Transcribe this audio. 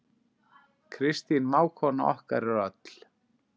Kristín mágkona okkar er öll.